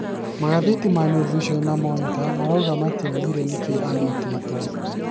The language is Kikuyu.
Magatheti ma New Vision na Monitor maraũga matĩaũgire nĩkĩĩ anyitĩtwe